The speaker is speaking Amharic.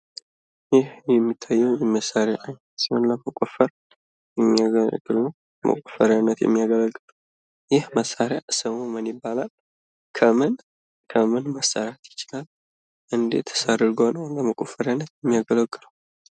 ይህ የሚታየው መሳሪያ ለመቆፈሪያነት የሚያገለግል ነው። ይህ መሳሪያ ስሙ ምን ይባላል? ከምን ከምን መሰራት ይችላል? እንዴትስ አድርጎ ነው ለመቆፈሪያነት የሚያገለግለው?